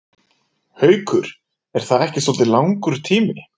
Haukur: Er það ekki svolítið langur tími?